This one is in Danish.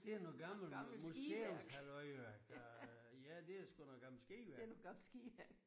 Det er noget noget gammel museumshalløj værk der ja det er sgu noget gammel skiværk